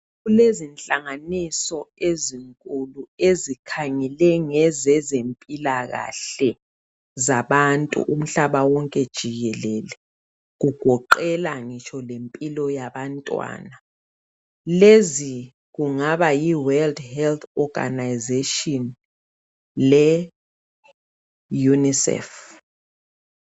Kulezihlanganiso ezinkulu ezikhangele ngezezempilakahle zabantu umhlaba wonke jikelele . Kugoqela ngitsho lempilo yabantwana. Lezi kungaba yi World Health Oganazetshini leYunisefu.